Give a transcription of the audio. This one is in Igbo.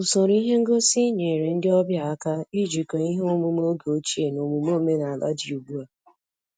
Usoro ihe ngosi nyere ndị ọbịa aka ijikọ ihe omume oge ochie na omume omenala dị ugbu a